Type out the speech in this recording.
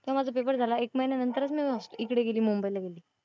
तेव्हा माझा पेपर झाला एक महिन्यानंतरच मी इकडं गेली मुंबईला गेली.